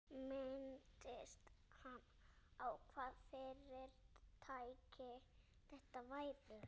Minntist hann á, hvaða fyrirtæki þetta væru?